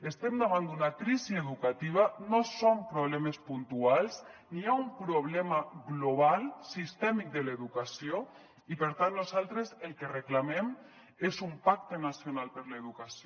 estem davant d’una crisi educativa no són problemes puntuals hi ha un problema global sistèmic de l’educació i per tant nosaltres el que reclamem és un pacte nacional per l’educació